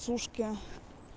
сушки